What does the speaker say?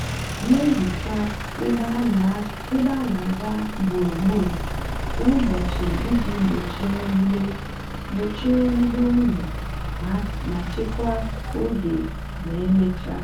na-ehicha ebe áná-ágá ugboro ugboro kwa ụbọchị iji gbochie mwube gbochie mwube unyi ma chekwaa oge ma emechaa.